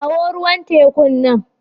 Kawo ruwan tekun nan.